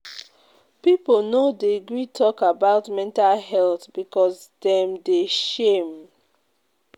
Pipo no dey gree tok about mental health because dem dey shame.